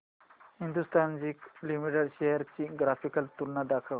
Hindustan Zinc Limited shares ची graphical तुलना दाखव